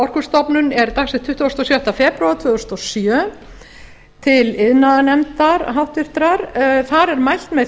orkustofnun er dagsett tuttugasta og sjötta febrúar tvö þúsund og sjö til háttvirtrar iðnaðarnefndar þar er mælt með